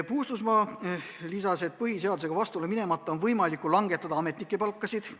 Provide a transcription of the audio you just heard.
Mina märkisin, et põhiseadusega vastuollu minemata on võimalik langetada ametnike palkasid.